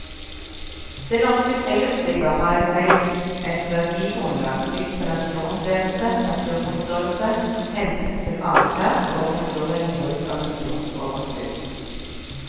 Det norske friluftslivet har i seg et verdigrunnlag bygd på naturopplevelse, naturforståelse, hensynsfull atferd og naturvennlig bruk av naturens overskudd.